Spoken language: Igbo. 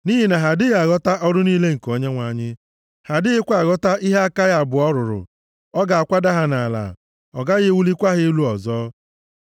Nʼihi na ha adịghị aghọta ọrụ niile nke Onyenwe anyị, ha adịghịkwa aghọta ihe aka ya abụọ rụrụ, ọ ga-akwada ha nʼala, ọ gaghị ewulikwa ha elu ọzọ.